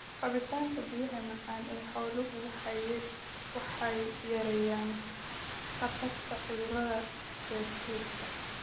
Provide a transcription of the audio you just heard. Cabitaanka biyaha macaan ee xooluhu waxay yareeyaan khatarta cudurrada dheefshiidka.